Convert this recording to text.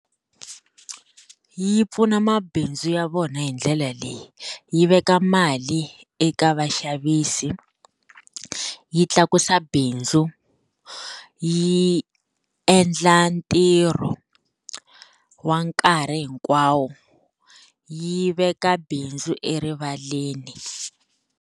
Yi pfuna mabindzu ya vona hi ndlela leyi, yi veka mali eka vaxavisi, yi tlakusa bindzu, yi endla ntirho wa nkarhi hinkwawo, yi veka bindzu erivaleni.